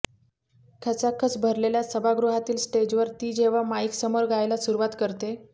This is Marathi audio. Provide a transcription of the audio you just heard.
खचाखच भरलेल्या सभागृहातील स्टेजवर ती जेव्हा माईकसमोर गायला सुरुवात करते